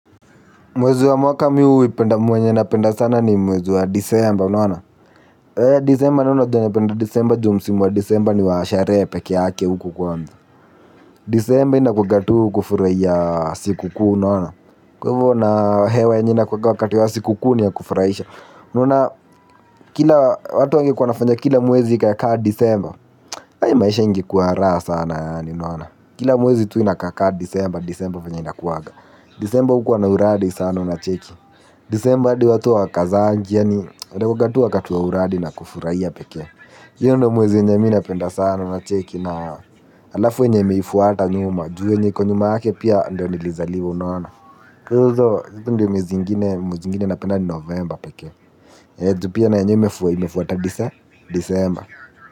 Mwezi wa mwaka huipenda mwenye napenda sana ni mwezi wa disemba unaona disemba nayo unajua napenda sana disemba ju msimu wa disemba ni wa sherehe pekee yake uku kwanza. Disemba inakuaga tu kufurahia siku kuu. Kwa hivyo na hewa enye inakuanga wakati wa siku kuu ni ya kufurahisha kila watu watu wangekuwa wanafanya kila mwezi ikaekaa disemba maisha ingekuwa raha sana yaani kila mwezi tu inakakaa disemba disemba venye ina kuwaga. Disemba hukuwa na uradi sana unacheki. Desemba adi watu wakazaangi yani inakuanga tu wakati wa uradi na kufurahia pekee hiyo ndio mwezi yenye mi napenda sana unacheki na alafu enye imeifuata nyuma ju yenye iko nyuma yake pia ndio nilizaliwa unaona kwa hivyo ndo mwezi ingine napenda ni novemba pekee ju pia na yenye imefuata disemba.